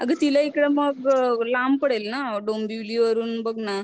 आग तिला मग इकड लांब पडेल ना डोंबिवली वरून बघ ना.